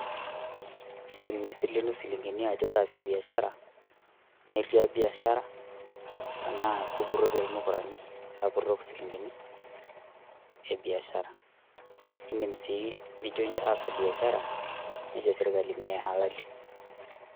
iindim nisilenu silingini ajo taasie biashara neriap biashara tenaa kupurrotie lmukurani lapurrok silingini e biashara, indim sii nijo taasa biashara nejo sirkali ,mee halali.